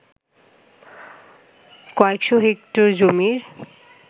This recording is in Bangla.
কয়েকশ’ হেক্টর জমির